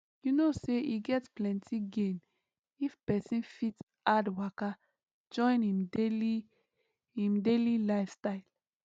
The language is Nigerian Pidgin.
you know say e get plenty gain if person fit add waka join him daily him daily lifestyle